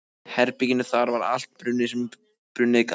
herberginu, þar var allt brunnið sem brunnið gat.